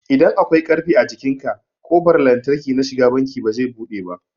idan akwai ƙarfe a jikinka ƙofar lantarki na shiga banki bazai buɗe ba